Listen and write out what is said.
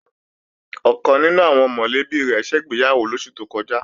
Ọ̀kan nínú àwọn mọ̀lẹ́bí rẹ̀ ṣègbéyàwó lóṣù tó kọjá